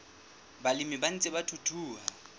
balemi ba ntseng ba thuthuha